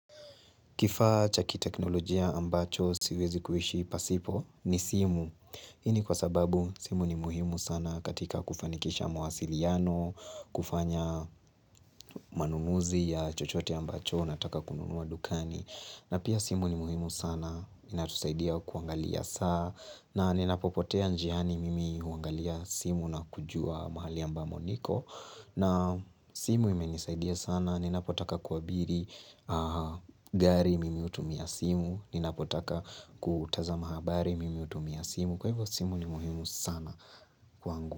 Kifaa cha kiteknolojia ambacho siwezi kuishi pasipo ni simu. Hii ni kwa sababu simu ni muhimu sana katika kufanikisha mawasiliano, kufanya manunuzi ya chochote ambacho nataka kununua dukani. Na pia simu ni muhimu sana, inatusaidia kuangalia saa. Na ninapopotea njiani mimi huangalia simu na kujua mahali ambamo niko. Na simu imenisaidia sana, ninapotaka kuabiri gari mimi hutumia simu, ninapotaka kutazama habari mimi utumia simu, kwa hivyo simu ni muhimu sana kwangu.